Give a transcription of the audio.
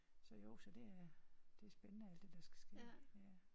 Så jo så det er det er spændende alt det der skal ske ja